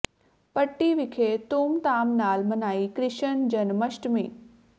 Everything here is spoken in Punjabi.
ਪੱਟੀ ਵਿਖੇ ਧੁੂਮ ਧਾਮ ਨਾਲ ਮਨਾਈ ਕਿ੍ਸ਼ਨ ਜਨਮ ਅਸ਼ਟਮੀ